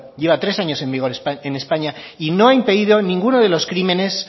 lleva tres años en vigor en españa y no ha impedido ninguno de los crímenes